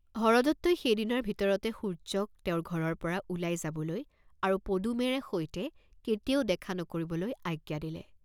হৰদত্তই সেই দিনাৰ ভিতৰতে সূৰ্য্যক তেওঁৰ ঘৰৰ পৰা ওলাই যাবলৈ আৰু পদুমেৰে সৈতে কেতিয়াও দেখা নকৰিবলৈ আজ্ঞা দিলে।